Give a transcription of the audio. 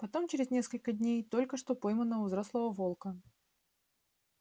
потом через несколько дней только что пойманного взрослого волка